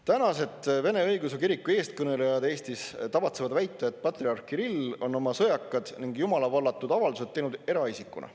Tänased Vene Õigeusu Kiriku eestkõnelejad Eestis tavatsevad väita, et patriarh Kirill on oma sõjakad ning jumalavallatud avaldused teinud eraisikuna.